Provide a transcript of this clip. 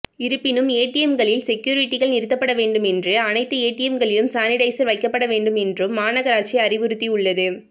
இருப்பினும் ஏடிஎம்களில் செக்யூரிட்டிகள் நிறுத்தப்பட வேண்டும் என்று அனைத்து ஏடிஎம்களிலும் சானிடைசர் வைக்கப்பட வேண்டும் என்றும் மாநகராட்சி அறிவுறுத்தியுள்ளது